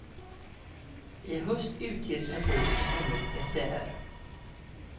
I höst utges en bok med hennes essäer.